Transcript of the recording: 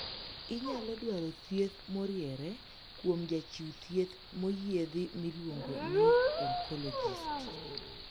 Inyalo dwaro thieth moriere kuom jachiw thieth moyiedhi miluongo ni 'oncologist'.